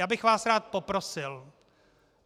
Já bych vás rád poprosil.